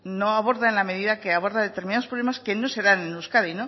no aborda en la medida que aborda determinados problemas que no se dan en euskadi